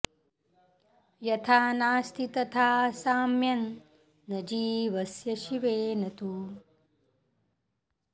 यथा नास्ति तथा साम्यं न जीवस्य शिवेन तु